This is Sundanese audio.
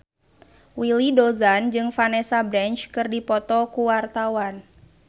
Willy Dozan jeung Vanessa Branch keur dipoto ku wartawan